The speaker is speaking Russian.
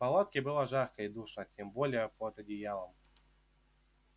в палатке было жарко и душно тем более под одеялом